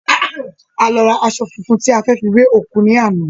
A lọ ra aṣọ funfun tí a fẹ́ fi wẹ òkú ní àná